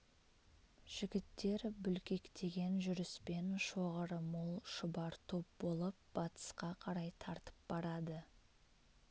жігіттер бүлкектеген жүріспен шоғыры мол шұбар топ болып батысқа қарай тартып барады